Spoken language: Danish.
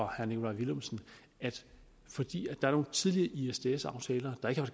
herre nikolaj villumsen at fordi der er nogle tidlige isds aftaler der ikke har